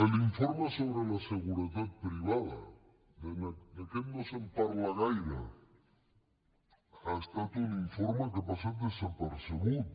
l’informe sobre la seguretat privada d’aquest no se’n parla gaire ha estat un informe que ha passat desapercebut